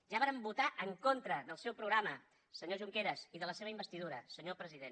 ja vàrem votar en contra del seu programa senyor junqueras i de la seva investidura senyor president